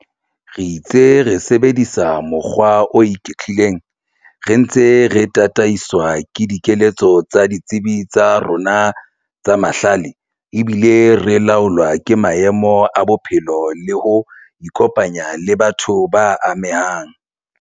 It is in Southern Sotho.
Re itse re sebedisa mokgwa o iketlileng re ntse re tataiswa ke dikeletso tsa ditsebi tsa rona tsa mahlale ebile re laolwa ke maemo a bophelo le ho ikopanya le batho ba amehang.